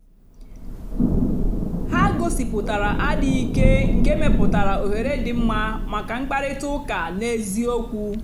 ha gòsíputàra àdì́ghị́ ìké nkè mepùtàra òhèrè dị́ mma maka mkpáịrịtà ụ́ka n'ézìòkwù.